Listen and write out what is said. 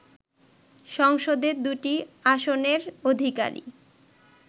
সংসদে দুটি আসনের অধিকারী